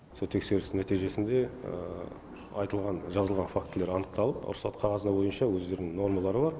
сол тексеріс нәтижесінде айтылған жазылған фактілер анықталып рұқсат қағазы бойынша өздерінің нормалары бар